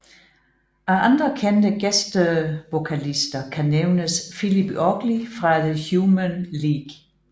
Af andre kendte gæstevokalister kan nævnes Philip Oakley fra The Human League